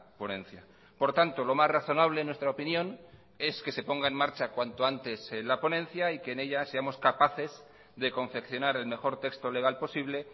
ponencia por tanto lo más razonable en nuestra opinión es que se ponga en marcha cuanto antes la ponencia y que en ella seamos capaces de confeccionar el mejor texto legal posible